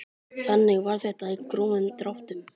Þannig var þetta í grófum dráttum.